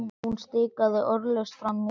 Hún stikaði orðalaust fram í eldhús.